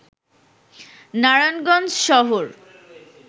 নারায়ণগঞ্জ শহর